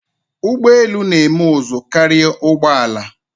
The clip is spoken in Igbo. Ugbọelu na-eme ụzụ karia ụgbọala.